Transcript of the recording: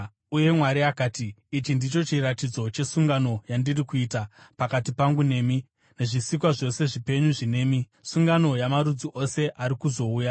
Uye Mwari akati, “Ichi ndicho chiratidzo chesungano yandiri kuita pakati pangu nemi nezvisikwa zvose zvipenyu zvinemi, sungano yamarudzi ose ari kuzouya: